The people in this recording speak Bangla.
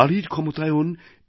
নারীর ক্ষমতায়ন